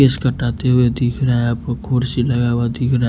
इस काटाते हुए दिख रहा है आपको कुर्सी लगा हुआ दिख र--